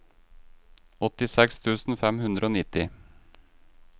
åttiseks tusen fem hundre og nitti